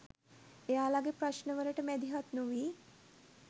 එයාලගේ ප්‍රශ්ණ වලට මැදිහත් නොවී